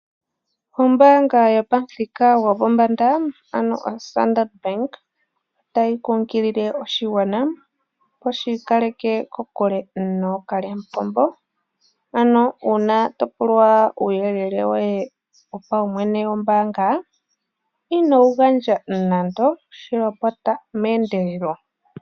Ombaanga yopamuthika gopombanda ano oStandard Bank, otayi kunkilile oshigwana opo shi ikaleke kokule nookalyamupombo. Uuna topulwa uuyelele woye wopaumwene wombaanga, inowu gandja nando, shi lopota meendelelo.